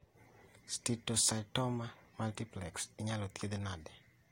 Steatocytoma multiplex inyalo thiedhi nade